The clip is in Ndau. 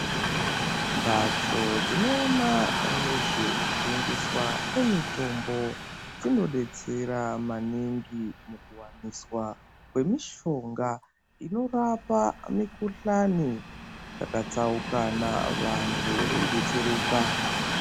Mbatso dzinoona nezvekutengeswa kwezvemitombo dzinodetsera maningi mukuwaniswa kwemishonga inorapa mikuhlani yakatsaukana vantu veidetsereka.